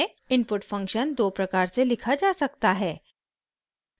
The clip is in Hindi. इनपुट फंक्शन दो प्रकार से लिखा जा सकता है: